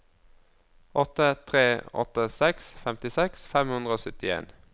åtte tre åtte seks femtiseks fem hundre og syttien